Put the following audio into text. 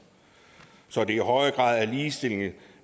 så de i højere grad er ligestillet